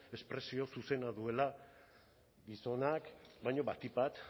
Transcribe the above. espresio zuzena duela gizonak baina batik bat